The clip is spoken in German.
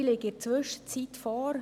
Sie liegen inzwischen vor.